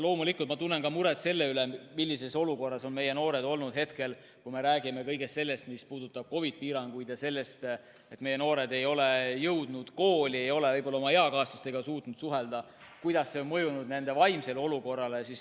Loomulikult, ma tunnen muret ka selle pärast, millises olukorras on meie noored olnud, kui me räägime kõigest sellest, mis puudutab COVID‑i piiranguid, seda, et noored ei ole jõudnud kooli, ei ole võib-olla oma eakaaslastega saanud suhelda, kuidas see on mõjunud nende vaimsele olukorrale.